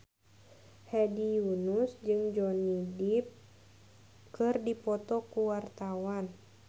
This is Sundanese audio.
Hedi Yunus jeung Johnny Depp keur dipoto ku wartawan